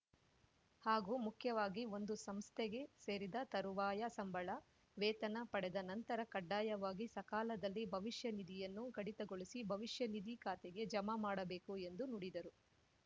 ಹಾಗೂ ಮುಖ್ಯವಾಗಿ ಒಂದು ಸಂಸ್ಥೆಗೆ ಸೇರಿದ ತರುವಾಯ ಸಂಬಳ ವೇತನ ಪಡೆದ ನಂತರ ಕಡ್ಡಾಯವಾಗಿ ಸಕಾಲದಲ್ಲಿ ಭವಿಷ್ಯ ನಿಧಿಯನ್ನು ಕಡಿತಗೊಳಿಸಿ ಭವಿಷ್ಯನಿಧಿ ಖಾತೆಗೆ ಜಮಾಮಾಡಬೇಕು ಎಂದು ನುಡಿದರು